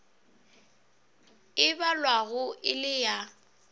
e balwago e le ya